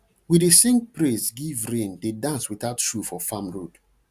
we dey sing praise give rain dey dance without shoe for farm road